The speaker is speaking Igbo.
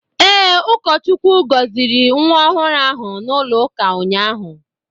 Ee, ụkọchukwu gọziri nwa ọhụrụ ahụ n'ụlọụka ụnyahụ.